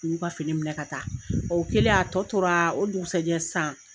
U y'u ka fini minɛ ka taa, o kɛlen a tɔ tora, o dukusajɛ sisan